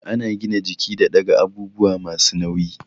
Ana gina jiki da ɗaga abubuwa masu nauyi